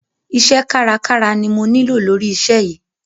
Iṣẹ́ kárakára ni mo nílò lóri iṣẹ́ yìí.